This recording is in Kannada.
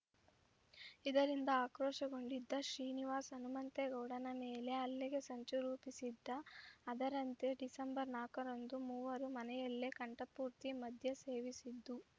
ಇದರಿಂದ ಆಕ್ರೋಶಗೊಂಡಿದ್ದ ಶ್ರೀನಿವಾಸ್‌ ಹನುಮಂತೇಗೌಡನ ಮೇಲೆ ಹಲ್ಲೆಗೆ ಸಂಚು ರೂಪಿಸಿದ್ದ ಅದರಂತೆ ಡಿಸೆಂಬರ್ ನಾಲ್ಕರಂದು ಮೂವರು ಮನೆಯಲ್ಲಿ ಕಂಠಪೂರ್ತಿ ಮದ್ಯ ಸೇವಿಸಿದ್ದು